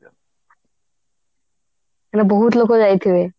ମାନେ ବହୁତ ଲୋକ ଯାଇଥିବେ